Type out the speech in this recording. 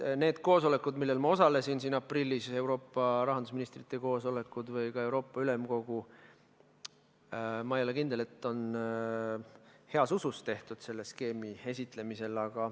Need koosolekud, millel ma osalesin aprillis, Euroopa rahandusministrite koosolekud või ka Euroopa Ülemkogu, ma ei ole kindel, et olid tehtud heas usus selle skeemi esitlemisel.